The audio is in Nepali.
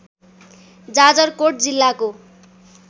जाजरकोट जिल्लाको